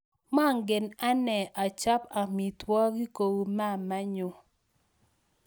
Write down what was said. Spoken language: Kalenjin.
Mangen anee achop amitwogik kuu mamaenyu